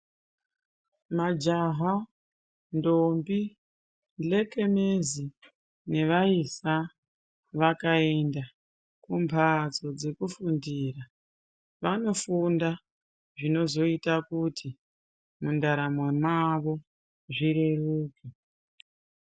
Majaha, ndombi nhlekenezi nevaisa vakaenda kumbatso dzekufundira vanofunda zvinozoita kuti mundaramo mwavo zvireruke.